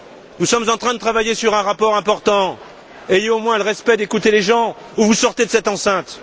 Nous sommes en train de travailler sur un rapport important, ayez au moins le respect d'écouter les gens ou sortez de cette enceinte!